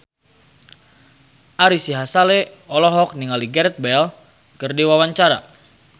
Ari Sihasale olohok ningali Gareth Bale keur diwawancara